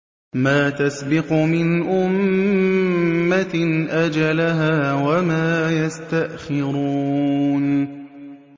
مَّا تَسْبِقُ مِنْ أُمَّةٍ أَجَلَهَا وَمَا يَسْتَأْخِرُونَ